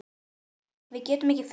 Við getum ekki fundið þig.